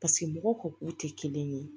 paseke mɔgɔw ka k'u te kelen ye